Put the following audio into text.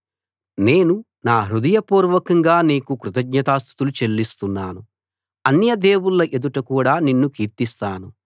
నేను నా హృదయపూర్వకంగా నీకు కృతజ్ఞతాస్తుతులు చెల్లిస్తున్నాను అన్య దేవుళ్ళ ఎదుట కూడా నిన్ను కీర్తిస్తాను